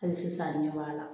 Hali sisan a ɲɛ b'a la